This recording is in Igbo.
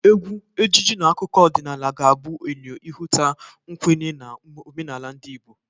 Egwu, ejiji na akụkụ ọdịnala ga-abụ eyo ịhụta mkwenye na omenala ndị Igbo.